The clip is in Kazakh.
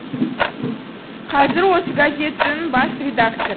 қазір осы газеттің бас редактор